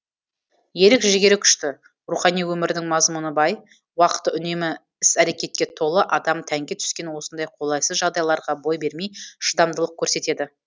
ерік жігері күшті рухани өмірінің мазмұны бай уақыты үнемі іс әрекетке толы адам тәнге түскен осындай қолайсыз жағдайларға бой бермей шыдамдылық көрсетеді